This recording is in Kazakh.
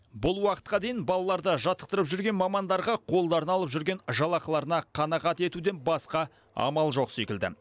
бұл уақытқа дейін балаларды жаттықтырып жүрген мамандарға қолдарына алып жүрген жалақыларына қанағат етуден басқа амал жоқ секілді